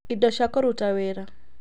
Kũruta wĩra (labor requirements)